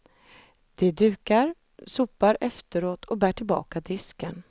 De dukar, sopar efteråt och bär tillbaka disken.